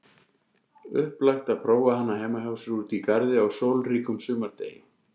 Upplagt er prófa hana heima hjá sér úti í garði á sólríkum sumardegi.